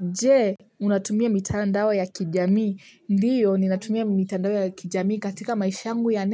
Je unatumia mitandao ya kijamii? Ndiyo ninatumia mitandao ya kijamii katika maisha yangu ya